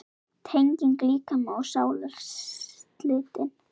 Tenging líkama og sálar slitin.